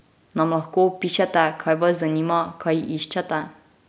Nam lahko opišete, kaj vas zanima, kaj iščete?